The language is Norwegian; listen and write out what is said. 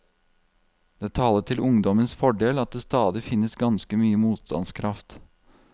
Det taler til ungdommens fordel at det stadig finnes ganske mye motstandskraft.